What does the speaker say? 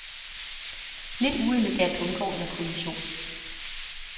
Lidt uelegant undgår jeg kollision.